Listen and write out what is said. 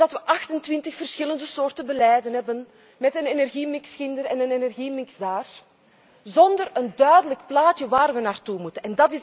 Omdat wij 28 verschillende soorten beleid hebben, met een energiemix hier en een energiemix daar, zonder een duidelijk plaatje waar wij naartoe moeten.